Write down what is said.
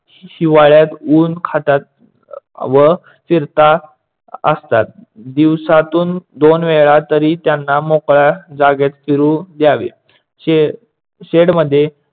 हिवाळ्यात ऊन खातात व फिरता असतात. दिवसातून दोन वेळा तरी त्यांना मोकळ्या जागेत फिरू द्यावे. शेड शेडमध्ये